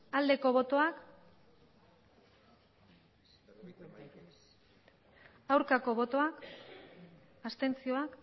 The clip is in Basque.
aldeko botoak aurkako botoak abstentzioa